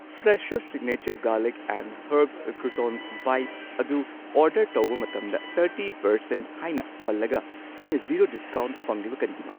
Fresho signature garlic and herbs croutons bites ꯑꯗꯨ order ꯇꯧꯕ ꯃꯇꯝꯗ ꯊꯥꯔꯇꯤ ꯄꯔꯁꯦꯟꯠ ꯍꯥꯏꯅ ꯄꯜꯂꯒ ꯑꯩꯅ ꯖꯤꯔꯣ ꯗꯤꯁꯀꯥꯎꯟꯠ ꯐꯪꯂꯤꯕ ꯀꯔꯤꯒꯤꯅꯣ?